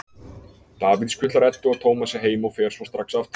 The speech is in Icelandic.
Davíð skutlar Eddu og Tómasi heim og fer svo strax aftur.